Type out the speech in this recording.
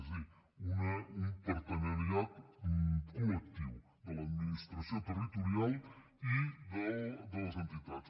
és a dir un partenariat collectiu de l’administració territorial i de les entitats